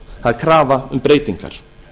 það er krafa um breytingar